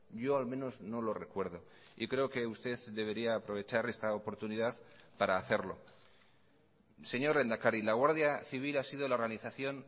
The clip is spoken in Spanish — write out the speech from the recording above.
yo al menos no lo recuerdo y creo que usted debería aprovechar esta oportunidad para hacerlo señor lehendakari la guardia civil ha sido la organización